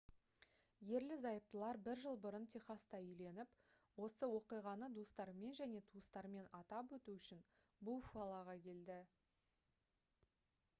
ерлі-зайыптылар бір жыл бұрын техаста үйленіп осы оқиғаны достарымен және туыстарымен атап өту үшін буффалоға келді